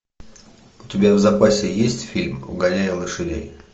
у тебя в запасе есть фильм угоняя лошадей